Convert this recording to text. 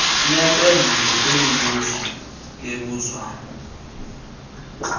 neempendulo kwimibuzo ebuzwa